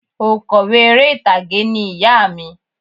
Oǹkọ̀wé eré ìtàgé ni ìyá à mi